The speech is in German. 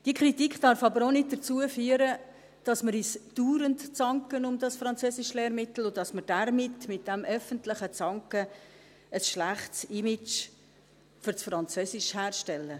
Diese Kritik darf aber auch nicht dazu führen, dass wir uns dauernd um dieses Französischlehrmittel zanken und damit, mit diesem öffentlichen Zanken, ein schlechtes Image fürs Französisch herstellen.